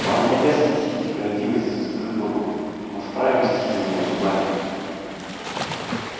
но он не обязан сносить несправедливость за чужих богов он вправе мстить за нее зубами